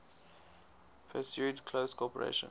pursued close cooperation